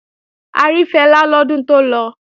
A rí Fẹlá lọ́dún tó lọ